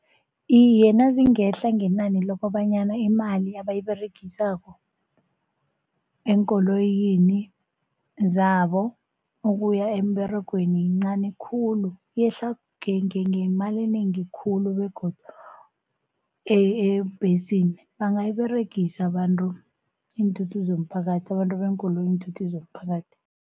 Iye, nazingehla ngenani lokobanyana imali abayiberegisako eenkoloyini zabo ukuya emberegweni yincani khulu, yehla ngemali enengi khulu, begodu ebhesini bangayiberegisa abantu iinthuthi zomphakathi abantu beenkoloyi iinthuthi zomphakathi.